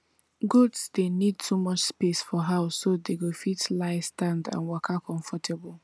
goats dey need too much space for house so dey go fit lie stand and waka comfortable